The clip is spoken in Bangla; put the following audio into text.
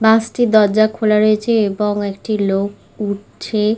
বাস -টির দরজা খোলা রয়েছে এবং একটি লোক উঠছে-এ।